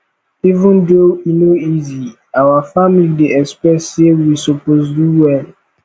even though e no easy our family dey expect sey we suppose do well